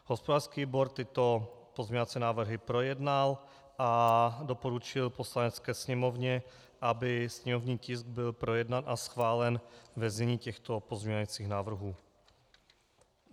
Hospodářský výbor tyto pozměňovací návrhy projednal a doporučil Poslanecké sněmovně, aby sněmovní tisk byl projednán a schválen ve znění těchto pozměňovacích návrhů.